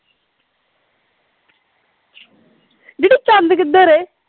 ਚੰਦ ਕਿੱਧਰ ਏ